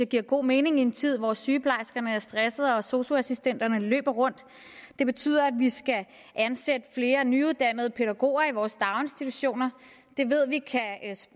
giver god mening i en tid hvor sygeplejerskerne er stressede og sosu assistenterne løber rundt det betyder at vi skal ansætte flere nyuddannede pædagoger i vores daginstitutioner det ved vi